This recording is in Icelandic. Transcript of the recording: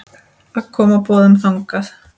að koma boðum þangað.